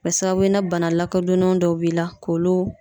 Kɛ sababu ye ni bana lakɔdɔnen dɔw b'i la k'olu